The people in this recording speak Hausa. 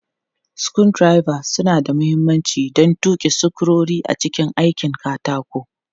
Screwdrivers suna da mahimmanci don tuki sukurori a cikin aikin katako.